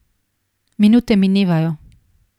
Minute minevajo.